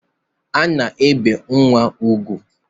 A na-ebe nnwa ugwu.